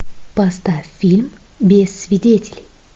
поставь фильм без свидетелей